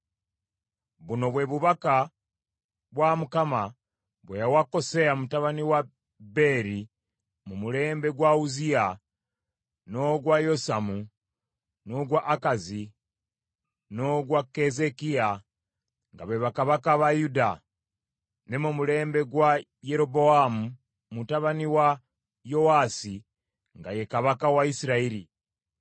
Buno bwe bubaka bwa Mukama bwe yawa Koseya mutabani wa Beeri mu mulembe gwa Uzziya, n’ogwa Yosamu, n’ogwa Akazi n’ogwa Keezeekiya, nga be bakabaka ba Yuda, ne mu mulembe gwa Yerobowaamu mutabani wa Yowaasi, nga ye kabaka wa Isirayiri.